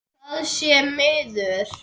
Það sé miður.